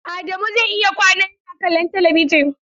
Adamu zai iya kwana yana kallon talabijin.